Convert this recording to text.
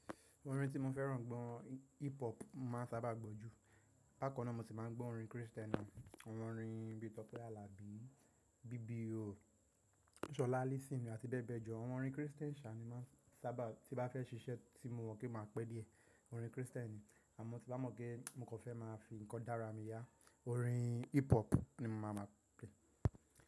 Orin tí mo fẹ́ràn gbọ́, hip hop má a sábà gbọ́ jù. Bákan náà mo sì máa ń gbọ́ orin Kristẹni, àwọn orin bíi Tọ́pẹ́ Àlàbí, BBO, Ṣọlá Allyson àti bẹ́ẹ̀ bẹ́ẹ̀ jọ. Àwọn orin Kristẹni ṣà ní máa n sábà tí bá fẹ́ ṣiṣẹ́ tí mo mọ̀ pé máa pé díẹ̀, orin Kristẹni. Àmọ́ tí bá mọ̀ pé mo kò fẹ́ máa fi nǹkan dára mi yá orin hip hop ni má máa play.